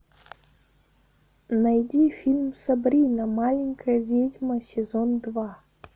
найди фильм сабрина маленькая ведьма сезон два